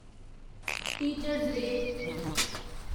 teacher's day